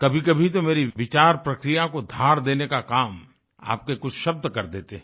कभीकभी तो मेरी विचार प्रक्रिया को धार देने का काम आपके कुछ शब्द कर देते हैं